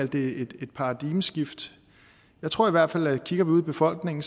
det et paradigmeskifte jeg tror i hvert fald at vi kigger ud i befolkningen